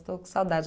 Estou com saudade.